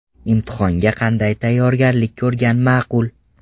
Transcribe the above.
Imtihonga qanday tayyorgarlik ko‘rgan maqul?